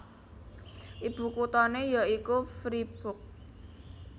Ibu kotané ya iku Fribourg